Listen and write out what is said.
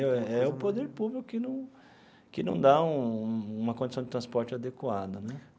É o Poder Público que não que não dá um uma condição de transporte adequada né.